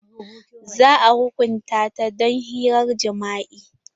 Za a hukunta ta don hirar jima'i.